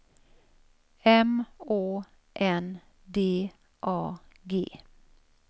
M Å N D A G